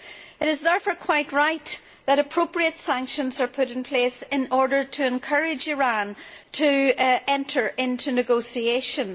It is therefore quite right that appropriate sanctions are put in place in order to encourage Iran to enter into negotiations.